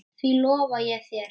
Því lofa ég þér